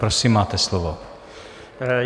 Prosím, máte slovo.